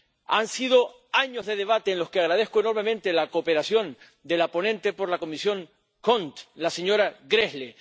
Han sido años de debate en los que agradezco enormemente la cooperación de la ponente por la Comisión CONT, la señora Gräßle.